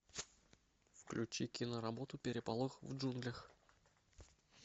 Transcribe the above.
включи киноработу переполох в джунглях